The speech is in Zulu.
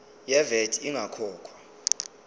ye vat ingakakhokhwa